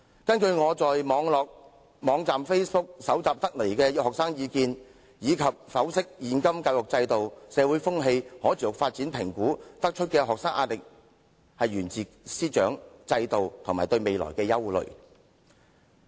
"根據我在 Facebook 網站搜集的學生意見，以及分析現今教育制度、社會風氣和可持續發展評估得出的結論，學生壓力來自師長和制度，以及對未來的憂慮。